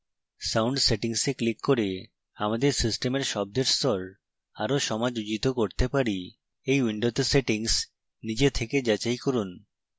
sound settings we click করে আমাদের সিস্টেমের শব্দের স্তর আরো সমাযোজিত করতে পারি